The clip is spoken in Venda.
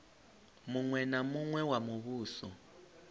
muṅwe na muṅwe wa muvhuso